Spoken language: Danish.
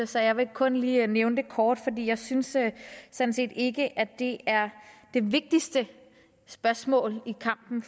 så jeg vil kun lige nævne det kort for jeg synes sådan set ikke at det er det vigtigste spørgsmål i kampen